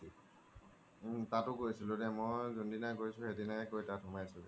উম তাতো গৈছো দেই মই জুন দিনা গৈছো সেইদিনাই গৈ তাত সোমাইছিলো